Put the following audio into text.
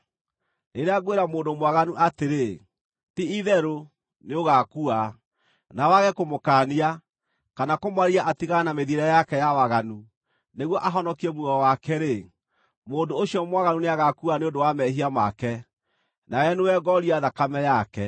Rĩrĩa ngwĩra mũndũ mwaganu atĩrĩ, ‘Ti-itherũ, nĩũgaakua,’ nawe wage kũmũkaania, kana kũmwarĩria atigane na mĩthiĩre yake ya waganu nĩguo ahonokie muoyo wake-rĩ, mũndũ ũcio mwaganu nĩagaakua nĩ ũndũ wa mehia make, nawe nĩwe ngooria thakame yake.